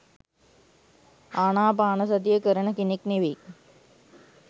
ආනාපානසතිය කරන කෙනෙක් නෙවෙයි.